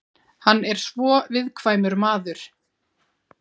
Hann er svo viðkvæmur maður.